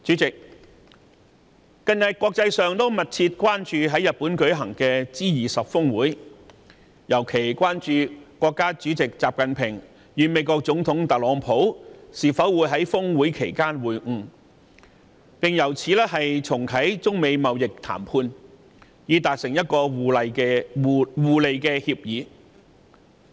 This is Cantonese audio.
近日國際社會密切關注在日本舉行的 G20 峰會，尤其是國家主席習近平與美國總統特朗普會否在峰會期間會晤，並重啟中美貿易談判，以達成互利協議。